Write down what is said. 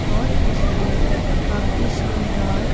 और इसमें काफी शानदार--